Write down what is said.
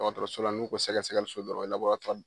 Dɔgɔtɔrɔsola n'u ko sɛgɛsɛliso dɔrɔn o ye laboratuwari